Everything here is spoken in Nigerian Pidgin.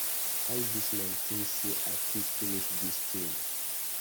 How dis man think say I fit finish dis thing.